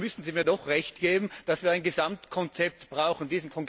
Dann müssen Sie mir doch Recht geben, dass wir ein Gesamtkonzept brauchen!